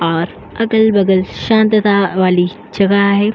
और अगल बगल शांतता वाली जगह है।